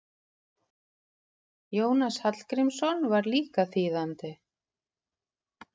Jónas Hallgrímsson var líka þýðandi.